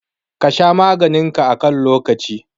Ka sha maganin ka a kan lokaci.